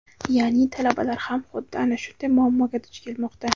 ya’ni talabalar ham xuddi ana shunday muammoga duch kelmoqda.